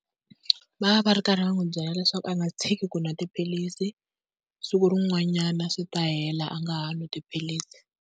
Va va va ri karhi va n'wi byela leswaku a nga tshiki ku nwa tiphilisi siku rin'wanyana swi ta hela a nga ha nwi tiphilisi.